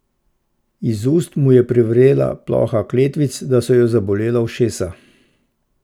Iz ust mu je privrela ploha kletvic, da so jo zabolela ušesa.